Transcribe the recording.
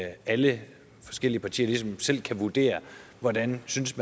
at alle forskellige partier ligesom selv kan vurdere hvordan man synes